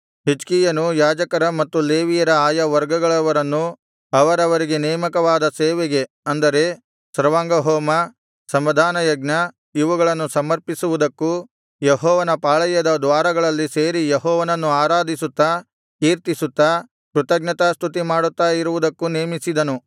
ಹಿಜ್ಕೀಯನು ಯಾಜಕರ ಮತ್ತು ಲೇವಿಯರ ಆಯಾ ವರ್ಗಗಳವರನ್ನು ಅವರವರಿಗೆ ನೇಮಕವಾದ ಸೇವೆಗೆ ಅಂದರೆ ಸರ್ವಾಂಗಹೋಮ ಸಮಾಧಾನ ಯಜ್ಞ ಇವುಗಳನ್ನು ಸಮರ್ಪಿಸುವುದಕ್ಕೂ ಯೆಹೋವನ ಪಾಳೆಯದ ದ್ವಾರಗಳಲ್ಲಿ ಸೇರಿ ಯೆಹೋವನನ್ನು ಆರಾಧಿಸುತ್ತಾ ಕೀರ್ತಿಸುತ್ತಾ ಕೃತಜ್ಞತಾಸ್ತುತಿಮಾಡುತ್ತಾ ಇರುವುದಕ್ಕೂ ನೇಮಿಸಿದನು